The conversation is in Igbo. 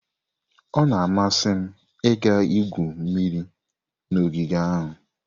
Ọ na-amasị m ịga igwu mmiri n'ogige ahụ.